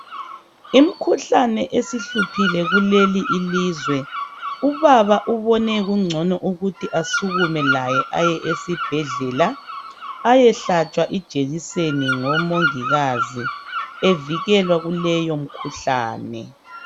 Imikhuhlane isihluphile kuleli ilizwe. Ubaba ubone kungcono ukuthi asukume laye ayesibhedlela ayehlatshwa ijekiseni ngoMongikazi evikelwa kuleyo imikhuhlane.